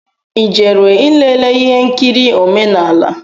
I jere ilele ihe nkiri omenala?